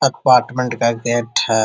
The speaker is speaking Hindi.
अपार्टमेंट का गेट है।